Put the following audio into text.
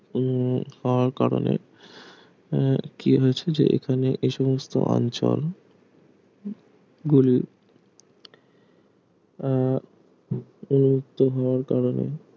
উন্মুখ হওয়ার কারণে আহ কি হয়েছে যে এখানে এ সমস্ত অঞ্চল গুলি আহ উন্মুক্ত হওয়ার কারণে